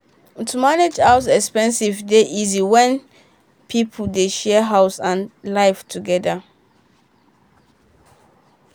to manage house expenses dey easy when people dey share house and life together.